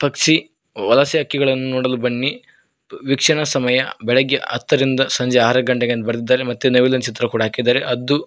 Xi ವಲಸೆ ಹಕ್ಕಿಗಳನ್ನು ನೋಡಲು ಬನ್ನಿ ವೀಕ್ಷಣ ಸಮಯ ಬೆಳಗ್ಗೆ ಹತ್ತರಿಂದ ಸಂಜೆ ಆರು ಗಂಟೆಗೆ ಅಂತ ಬರ್ದಿದ್ದಾರೆ ಮತ್ತು ನವಿಲಿನ್ ಚಿತ್ರ ಕೂಡ ಹಾಕಿದ್ದಾರೆ ಹದ್ದು--